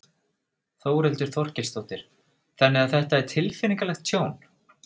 Þórhildur Þorkelsdóttir: Þannig að þetta er tilfinningalegt tjón?